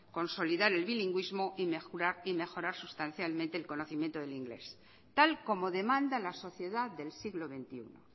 consolidar el bilingüismo y mejorar sustancialmente el conocimiento del inglés tal y como demanda la sociedad del siglo veintiuno